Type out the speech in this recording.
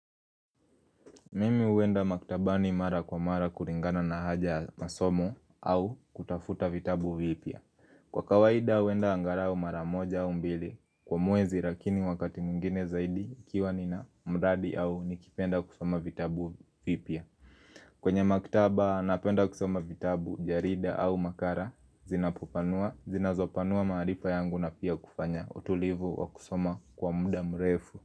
Mimi huenda maktabani mara kwa mara kuringana na haja masomo au kutafuta vitabu vipya Kwa kawaida huenda angarao mara moja au mbili kwa mwezi rakini wakati mwengine zaidi nikiwa nina mradi au nikipenda kusoma vitabu vipya kwenye maktaba napenda kusoma vitabu jarida au makara zinapopanua Zinazopanua maarifa yangu na pia kufanya utulivu wa kusoma kwa muda mrefu.